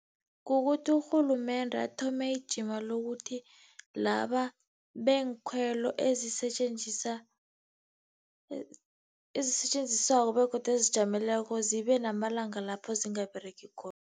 Kukuthi urhulumende athome ijima lokuthi laba beenkhwelo ezisetjenziswako begodu ezizijameleko zibe namalanga lapho zingaberegi khona.